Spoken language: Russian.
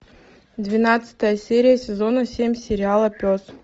двенадцатая серия сезона семь сериала пес